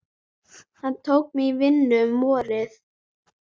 Hann tók mig í vinnu um vorið.